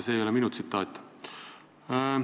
See ei ole minu tsitaat.